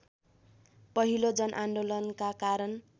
पहिलो जनआन्दोलनका कारण